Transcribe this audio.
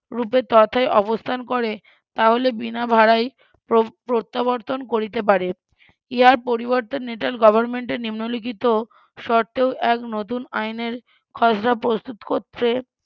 রুপে তথায় অবস্থান করে তাহলে বিনা ভাড়ায় প্রত্যাবর্তন করিতে পারে ইহার পরিবর্তে নেটাল গভর্নমেন্ট এর নিম্নলিখিত শর্তেও এক নতুন আইনের খসড়া প্রস্তুত করতে